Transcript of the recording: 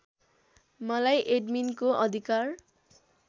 मलाई एडमिनको अधिकार